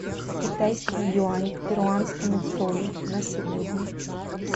китайский юань к перуанскому солю на сегодня